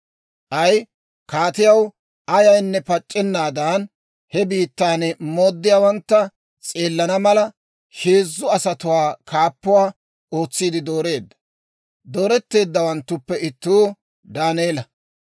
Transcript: K'ay kaatiyaw ayaanne pac'issennaadan, he biittaa mooddiyaawantta s'eelana mala, heezzu asatuwaa kaappuwaa ootsiide dooreedda; dooretteeddawanttuppe ittuu Daaneela.